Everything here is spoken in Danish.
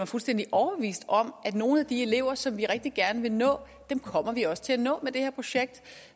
fuldstændig overbevist om at nogle af de elever som vi rigtig gerne vil nå kommer vi også til at nå med det her projekt